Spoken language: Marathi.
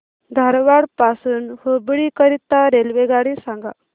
धारवाड पासून हुबळी करीता रेल्वेगाडी सांगा